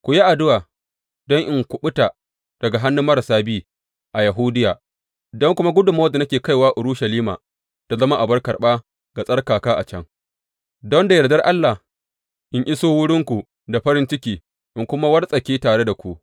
Ku yi addu’a don in kuɓuta daga hannun marasa bi a Yahudiya don kuma gudummawar da nake kaiwa Urushalima ta zama abar karɓa ga tsarkaka a can, don da yardar Allah, in iso wurinku da farin ciki in kuma wartsake tare da ku.